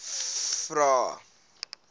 vvvvrae